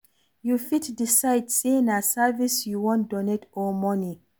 You fit decide sey na service you wan donate or money